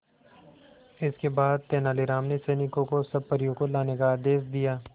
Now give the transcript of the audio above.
इसके बाद तेलानी राम ने सैनिकों को सब परियों को लाने का आदेश दिया